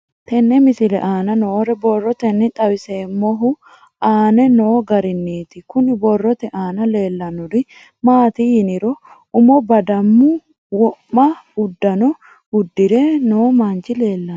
Tenne misile aana noore borroteni xawiseemohu aane noo gariniiti. Kunni borrote aana leelanori maati yiniro umo badaamu wo'ma uddanna udirinno manchi leelanno.